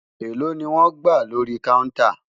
èlò ní wón gbà lórí kàùntà?